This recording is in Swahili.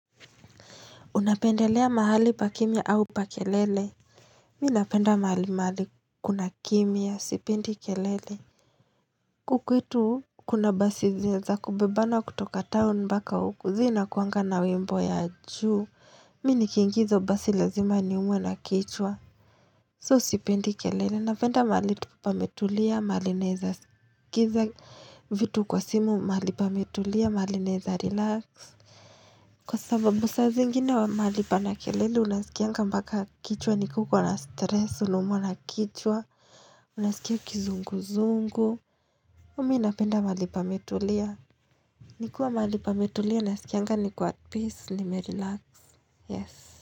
Unapendelea mahali pa kimya au pa kelele? Mimi napenda mahali mahali kuna kimya, sipendi kelele. Huku kwetu kuna basi za kubebana kutoka town mpaka huku, zinakuanga na wimbo ya juu. Mimi nikiingia hizo basi lazima niumwe na kichwa. So sipendi kelele, napenda mahali tu pametulia, mahali naweza skiza vitu kwa simu, mahali pametulia, mahali naweza relax. Kwa sababu saa zingine mahali pana kelele unasikianga mpaka kichwa ni ka uko na stress, unaumwa na kichwa, unasikia kizungu zungu. Mimi napenda mahali pametulia. Nikiwa mahali pametulia nasikianga niko at peace nimerelax. Yes.